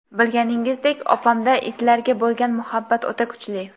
Bilganingizdek opamda itlarga bo‘lgan muhabbat o‘ta kuchli.